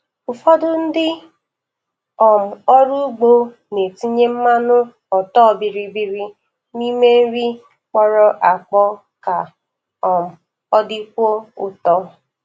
Ụfọdụ ndị um ọrụ ugbo na-etinye mmanụ ọtọ bịrị bịrị n' ime nri kpọrọ akpọ ka um ọ dịkwuo ụtọ.